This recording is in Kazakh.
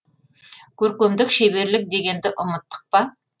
көркемдік шеберлік дегенді ұмыттық па